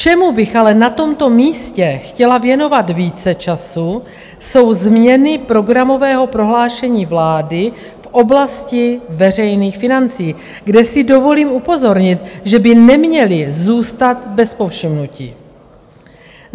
Čemu bych ale na tomto místě chtěla věnovat více času, jsou změny programového prohlášení vlády v oblasti veřejných financí, kde si dovolím upozornit, že by neměly zůstat bez povšimnutí.